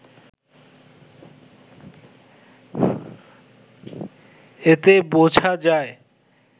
এতে বোঝা যায়